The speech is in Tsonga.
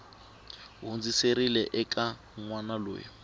hundziserile eka n wana loyi